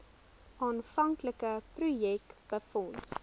aanvanklike projek befonds